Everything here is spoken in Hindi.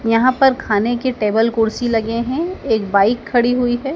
यहाँ पर खाने के टेबल कुर्सी लगे हैं एक बाइक खड़ी हुई हैं।